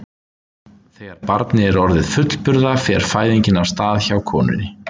Þegar barnið er orðið fullburða fer fæðingin af stað hjá konunni.